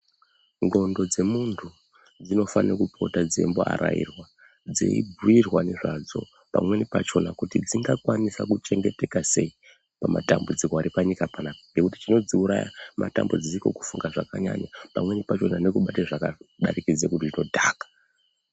Ndxondo dzemuntu dzinofane kupota dzeimboarairwa, dzeibhuirwa nezvadzo kuti pamweni pacho dzingakwanisa kuchengeteka sei pamatambudziko ari panyika panapa ngekuti chinodziuraya matambudziko kufunga zvakanyanya pamweni pachona nekubate zvakadarikidze zvinodhaka.